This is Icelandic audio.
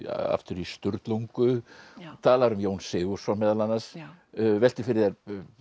aftur í Sturlungu talar um Jón Sigurðsson meðal annars veltir fyrir þér